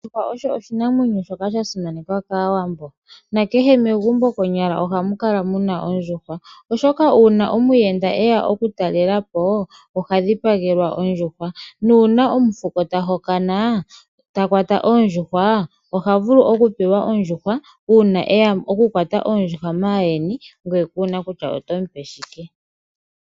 Ondjuhwa oshinamwenyo shoka sha simanekwa kawambo nakeshe megumbo konyala ohamu kala muna ondjuhwa oshoka una omuyenda eya oku talelapo oha dhipagelwa ondjuhwa , nuna omufuko ta hokana ta kwata ondjuhwa, oha vulu oku pewa ondjuhwa una eya oku kwata oondjuhwa mayeni ngwee kuna kutya oto mupe shike.